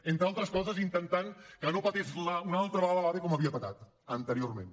entre altres coses intentant que no petés una altra vegada l’ave com havia petat anteriorment